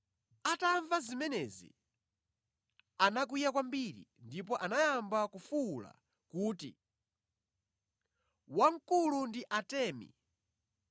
Atamva zimenezi, anakwiya kwambiri ndipo anayamba kufuwula kuti, “Wamkulu ndi Atemi.”